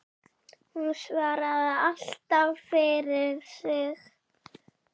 Hún svaraði alltaf fyrir sig.